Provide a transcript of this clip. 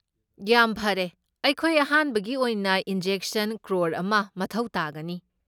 ꯌꯥꯝ ꯐꯔꯦ꯫ ꯑꯩꯈꯣꯏ ꯑꯍꯥꯟꯕꯒꯤ ꯑꯣꯏꯅ ꯏꯟꯖꯦꯛꯁꯟ ꯀ꯭ꯔꯣꯔ ꯑꯃ ꯃꯊꯧ ꯇꯥꯒꯅꯤ꯫